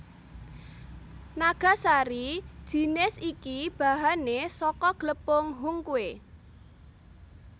Nagasari jinis iki bahané saka glepung hungkwe